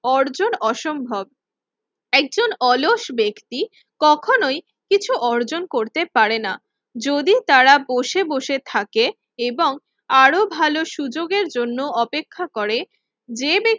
অর্জন অসম্ভব। একজন অলস ব্যক্তি কখনোই কিছু অর্জন করতে পারে না যদি তারা বসে বসে থাকে এবং আরো ভালো সুযোগের জন্য অপেক্ষা করে। যে ব্যা